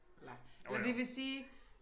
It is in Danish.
Eller eller det vil sige